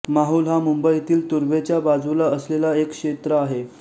माहुल हा मुंबईतील तुर्भेच्या बाजूला असलेला एक क्षेत्र आहे